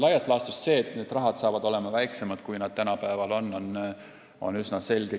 Laias laastus see, et tulevikus on summad väiksemad, kui nad tänapäeval on, on üsna selge.